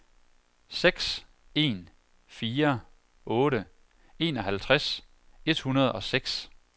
seks en fire otte enoghalvtreds et hundrede og seks